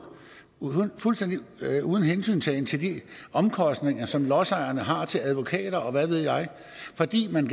fuldstændig uden hensyntagen til de omkostninger som lodsejerne har til advokater og hvad ved jeg fordi man